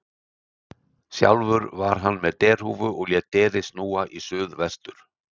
Sjálfur var hann með derhúfu og lét derið snúa í suð vestur.